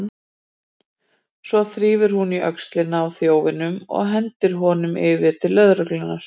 Svo þrífur hún í öxlina á þjófnum og hendir honum yfir til löggunnar.